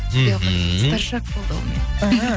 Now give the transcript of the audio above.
мхм старшак болды ол менің іхі